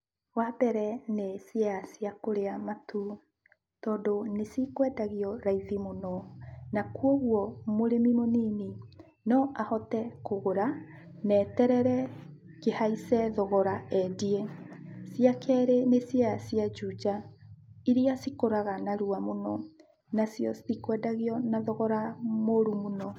Wambere nĩ ciea cia kũrĩa Matuu, tondũ nĩcikwendagio raithi mũno, kuoguo mũrĩmi mũnini no ahote kũgũra, na aterere kĩhaice thogora endie. Cia kerĩ nĩ ciea cia Juja iria cikũraga narua mũno, nacio citikwendagio na thogora mũru mũno.